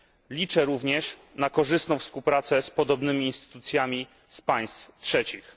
Liczę również na korzystną współpracę z podobnymi instytucjami z państw trzecich.